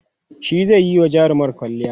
shi zaiyi wa jarumar kwalliya